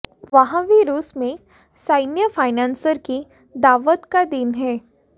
वहाँ भी रूस में सैन्य फाइनेंसर की दावत का दिन है